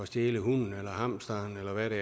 stjæle hunden eller hamsteren eller hvad det